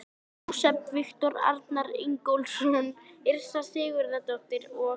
Jósepsson, Viktor Arnar Ingólfsson, Yrsa Sigurðardóttir og